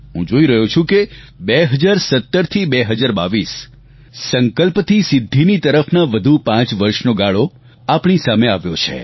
હું જોઈ રહ્યો છું કે 2017 થી 2022 સંકલ્પથી સિદ્ધીની તરફના વધુ પાંચ વર્ષનો ગાળો આપણી સામે આવ્યો છે